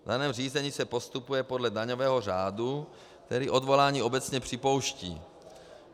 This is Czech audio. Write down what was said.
V daném řízení se postupuje podle daňového řádu, který odvolání obecně připouští.